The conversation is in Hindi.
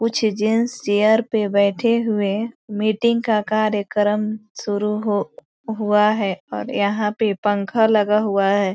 यह एक बहुत बड़ी नदी है इस नदी के चारो तरफ दूर-दूर तक --